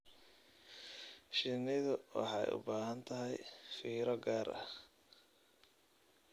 Shinnidu waxay u baahan tahay fiiro gaar ah.